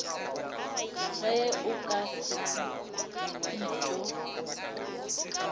ge o ka se etho